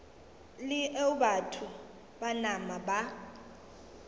leo batho ba nama ba